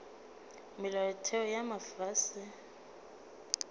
molaotheo wo mofsa mme o